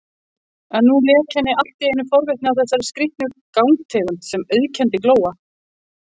En nú lék henni alltíeinu forvitni á þessari skrýtnu gangtegund sem auðkenndi Glóa.